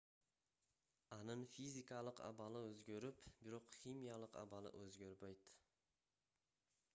анын физикалык абалы өзгөрүп бирок химиялык абалы өзгөрбөйт